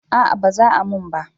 A'a ba za a mun ba